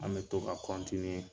An bɛ to ka